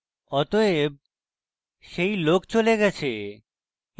অতএব সেই লোক চলে গেছে